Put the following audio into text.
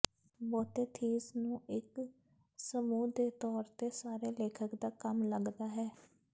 ਬਹੁਤੇ ਥੀਮ ਨੂੰ ਇੱਕ ਸਮੂਹ ਦੇ ਤੌਰ ਤੇ ਸਾਰੇ ਲੇਖਕ ਦਾ ਕੰਮ ਲੱਗਦਾ ਹੈ